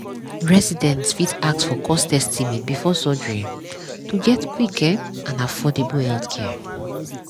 residents fit ask for cost estimate before surgery um to get quick um and affordable healthcare. um